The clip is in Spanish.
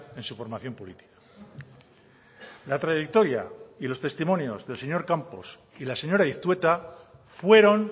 en su formación política la trayectoria y los testimonios del señor campos y la señora iztueta fueron